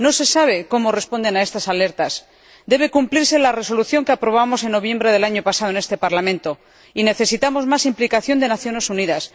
No se sabe cómo responden a estas alertas. Debe cumplirse la resolución que aprobamos en noviembre del año pasado en este Parlamento y necesitamos más implicación de las Naciones Unidas.